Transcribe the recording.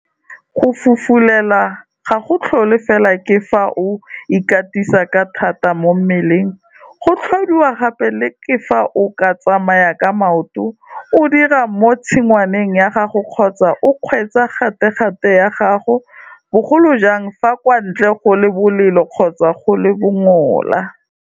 Go fufulelwa ga go tlhole fela ke fa o ikatisa ka thata mo mmeleng, go tlhodiwa gape le ke fa o tsamaya ka maoto, o dira mo tshingwaneng ya gago kgotsa o kgweetsa gategate ya gago, bogolo jang fa kwa ntle go le bolelo kgotsa go le bongola.